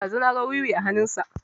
Ɗazu na ga wiwi a hanun sa